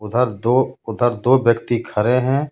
उधर दो उधर दो व्यक्ति खड़े हैं.